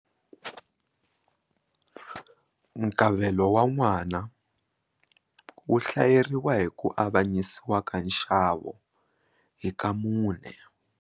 Nkavelo wa n'wana wu hlayeriwa hi ku avanyisiwa ka nxavo hi ka mune.